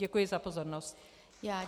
Děkuji za pozornost.